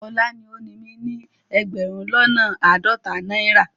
Ola ni o ni mi ni egberun lona aadota naira